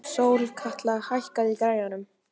Sólkatla, hækkaðu í græjunum.